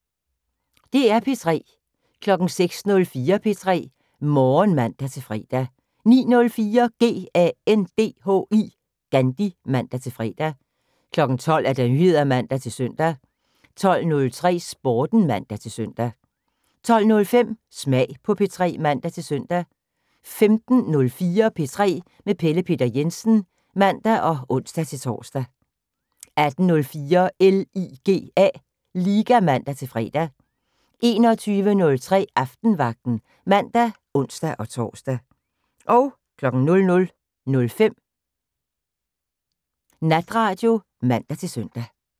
DR P3